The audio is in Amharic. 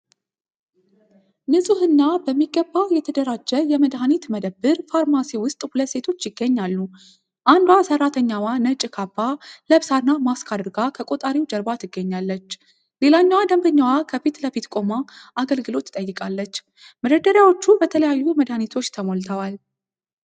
ንጹህና በሚገባ የተደራጀ የመድኃኒት መደብር (ፋርማሲ) ውስጥ ሁለት ሴቶች ይገኛሉ። አንዷ ሰራተኛዋ ነጭ ካባ ለብሳና ማስክ አድርጋ ከቆጣሪው ጀርባ ትገኛለች። ሌላኛዋ ደንበኛዋ ከፊት ለፊት ቆማ አገልግሎት ትጠይቃለች። መደርደሪያዎቹ በተለያዩ መድኃኒቶች ተሞልተዋል።